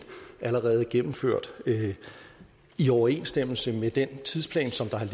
allerede gennemført i overensstemmelse med den tidsplan som der har